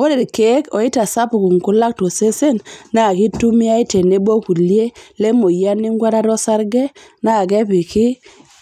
Ore ilkeek oitasapuk nkulak tosesen naa keitumiyai tenebo kulie lemoyian enkuatata osarge naa kepiki